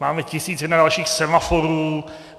Máme tisíc jedna dalších semaforů.